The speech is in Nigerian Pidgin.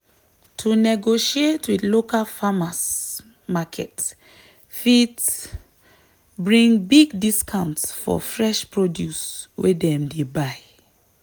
to negotiate with local farmers' market fit bring big discount for fresh produce wey dem buy.